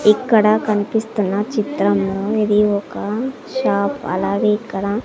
ఇక్కడ కనిపిస్తున్న చిత్రంలో ఇది ఒక షాప్ అలాగే ఇక్కడ.